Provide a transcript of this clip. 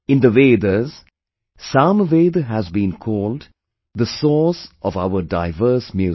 In the Vedas, Samaveda has been called the source of our diverse music